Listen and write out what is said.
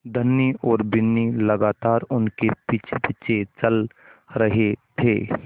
धनी और बिन्नी लगातार उनके पीछेपीछे चल रहे थे